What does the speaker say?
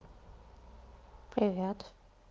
привет